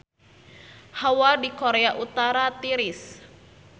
Hawa di Korea Utara tiris